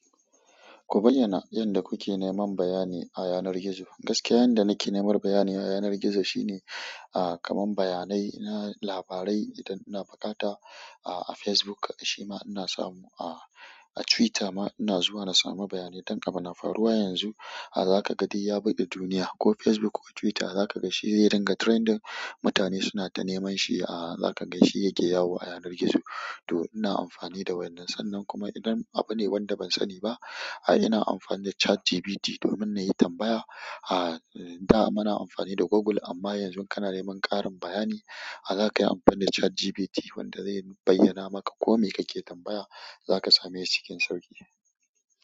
Ku bayyana yanda kuke neman bayani a yanar gizo. Gaskiya yanda nake nemar bayani a yanar gizo shine ah kaman baya nai na labarai indan ina buƙata ah Facebook shim inasa samu ah Twitter ma ina zuwa na samubaya nai i ɗan abu na faruwa yanzu zakaga duk ya bake duniya ko facebook ko twitter zakaga shiyaringa trending mutane sunata nemanshi zakaga shi yake yawo a yanar gizo to ina amfani da wannan. Sannan kuma idan abune wanda ban sani ba, ah, ina amfani da ChatGPT domin na yi tambaya. Ah, da mana amfani da Google amma yanzu kana neman ƙarin bayani, ah, za ka yi amfani da ChatGPT wanda zai bayyana maka kome kake tambaya, za ka same shi cikin sauƙi.